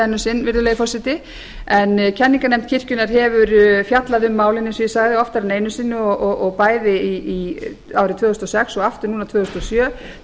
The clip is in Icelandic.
enn um sinn virðulegi forseti en kenningarnefnd kirkjunnar hefur fjallað um málin eins og ég sagði oftar en einu sinni og bæði árið tvö þúsund og sex og aftur núna tvö þúsund og